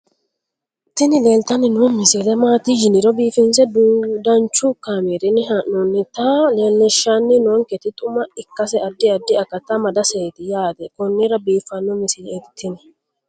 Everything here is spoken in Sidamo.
tini leeltanni noo misile maaati yiniro biifinse danchu kaamerinni haa'noonnita leellishshanni nonketi xuma ikkase addi addi akata amadaseeti yaate konnira biiffanno misileeti tini